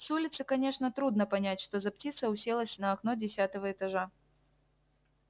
с улицы конечно трудно понять что за птица уселась на окно десятого этажа